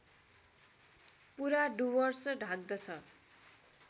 पुरा डुवर्स ढाक्दछ